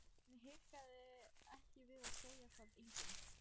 Hún hikaði ekki við að segja það: enginn.